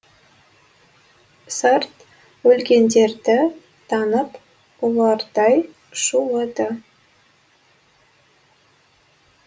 сарт өлгендерді танып ұлардай шулады